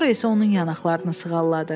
Sonra isə onun yanaqlarını sığalladı.